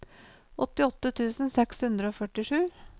åttiåtte tusen seks hundre og førtisju